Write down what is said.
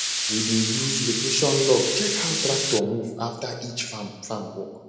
we dey use location log check how tractor move after each farm farm work